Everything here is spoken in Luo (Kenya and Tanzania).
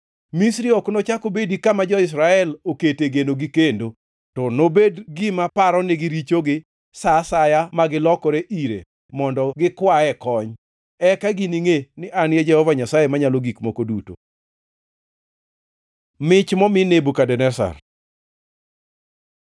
Misri ok nochak obedi kama jo-Israel okete genogi kendo, to nobedi gima paronigi richogi sa asaya ma ginilokre ire mondo gikwae kony. Eka giningʼe ni An e Jehova Nyasaye Manyalo Gik Moko Duto.’ ” Mich momi Nebukadneza